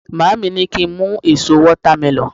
maami ni ki n mu eso watermelon